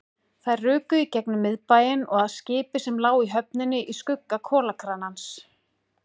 Þær ruku í gegnum miðbæinn og að skipi sem lá í höfninni í skugga kolakranans.